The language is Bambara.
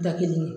Da kelen